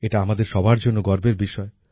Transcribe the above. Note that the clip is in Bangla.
এটা আমাদের সবার জন্য গর্বের বিষয়